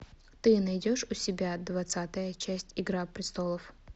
ты найдешь у себя двадцатая часть игра престолов